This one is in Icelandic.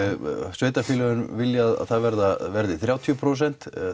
sveitarfélögin vilja að það verði þrjátíu prósent